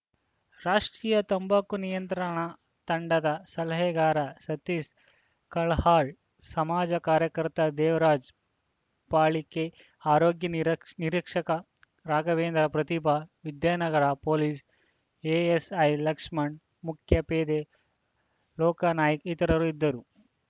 ರಾಷ್ಟೀಯ ತಂಬಾಕು ನಿಯಂತ್ರಣ ತಂಡದ ಸಲಹೆಗಾರ ಸತೀಶ್ ಕಲಹಾಳ್‌ ಸಮಾಜ ಕಾರ್ಯಕರ್ತ ದೇವರಾಜ ಪಾಲಿಕೆ ಆರೋಗ್ಯ ನಿರೀಕ್ಷ್ ನಿರೀಕ್ಷಕ ರಾಘವೇಂದ್ರ ಪ್ರತಿಭಾ ವಿದ್ಯಾನಗರ ಪೊಲೀಸ್‌ ಎಎಸ್‌ಐ ಲಕ್ಷ್ಮಣ ಮುಖ್ಯ ಪೇದೆ ಲೋಕ್ಯಾನಾಯ್ಕ ಇತರರು ಇದ್ದರು